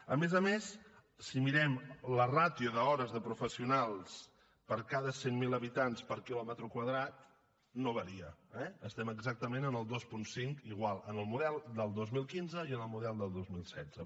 a més a més si mirem la ràtio d’hores de professionals per cada cent mil habitants per quilòmetre quadrat no varia eh estem exactament en el dos coma cinc igual en el model del dos mil cent i cinc i en el model del dos mil setze